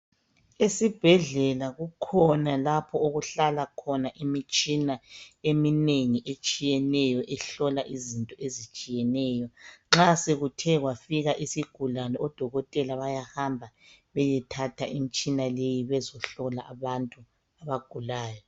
Esibhedlela kukhona lapho okuhlala khona imitshina eminengi etshiyeneyo, ehlola izinto ezitshiyeneyo, nxa sekuthe kwafika isigulani, odokotela bayahamba bayethatha imitshina leyo bazohlola abantu abagulayo.